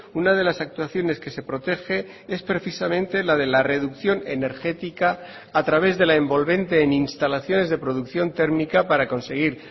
una de las actuaciones que se protege es precisamente la de la reducción energética a través de la envolvente en instalaciones de producción térmica para conseguir